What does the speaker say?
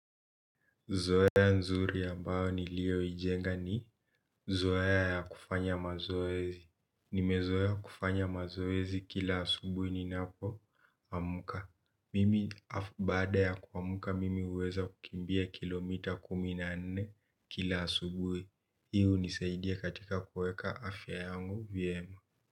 Zoea nzuri ambayo niliyoijenga ni zoea ya kufanya mazoezi. Nimezoea kufanya mazoezi kila asubui ninapoamka. Mimi baada ya kuamka mimi huweza kukimbia kilomita kumi na nne kila asubui. Hii hunisaidia katika kuweka afya yangu vyema.